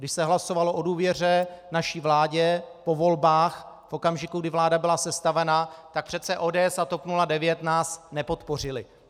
Když se hlasovalo o důvěře naší vládě po volbách v okamžiku, kdy vláda byla sestavena, tak přece ODS a TOP 09 nás nepodpořily.